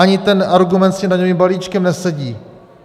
Ani ten argument s tím daňovým balíčkem nesedí.